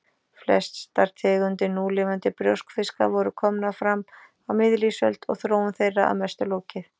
Flestar tegundir núlifandi brjóskfiska voru komnar fram á miðlífsöld og þróun þeirra að mestu lokið.